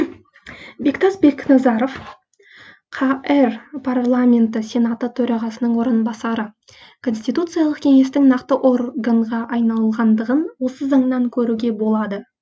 бектас бекназаров қр парламенті сенаты төрағасының орынбасары конституциялық кеңестің нақты органға айналғандығын осы заңнан көруге болады